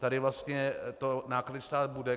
Tady vlastně to náklady stát bude.